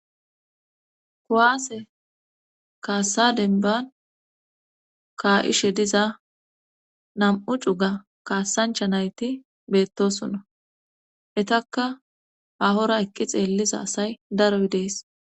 Kuwaase kaassadenban kaa'ishe diza nam'u cuga kaassancha nayti beettosona etakka ahora eqqi xeelliza asay daroy dees